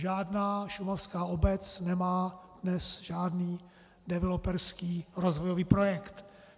Žádná šumavská obec nemá dnes žádný developerský rozvojový projekt.